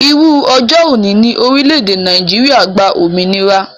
Irú ọjọ́ òní ni orílédé Nàìjíría gba òmìnira